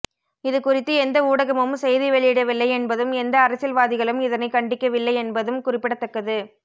இதுகுறித்து எந்த ஊடகமும் செய்தி வெளியிடவில்லை என்பதும் எந்த அரசியல்வாதிகளும் இதனை கண்டிக்கவில்லை என்பதும் குறிப்பிடத்தக்கது